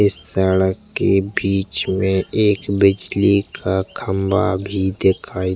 इस सड़क के बिच में एक बिजली का खम्बा भी दिखाई --